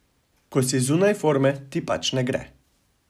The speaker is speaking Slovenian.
Ko si zunaj forme, ti pač ne gre.